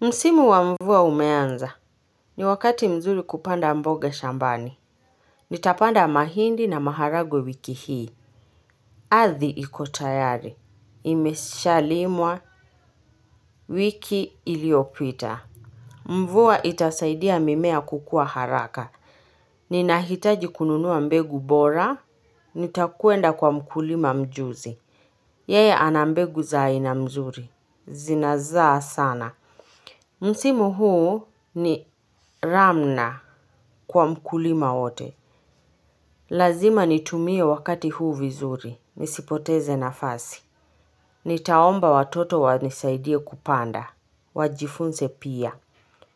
Msimu wa mvua umeanza. Ni wakati mzuri kupanda mboga shambani. Nitapanda mahindi na maharagwe wiki hii. Ardhi ikotayari. Imeshalimwa. Wiki iliopita. Mvua itasaidia mimea kukua haraka. Ninahitaji kununua mbegu bora. Nitakuenda kwa mkulima mjuzi. Yeye anambegu za aina nzuri. Zinazaa sana. Msimu huu ni ramna kwa mkulima wote. Lazima nitumie wakati huu vizuri, nisipoteze nafasi. Nitaomba watoto wanisaidie kupanda, wajifunze pia.